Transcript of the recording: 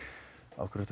af hverju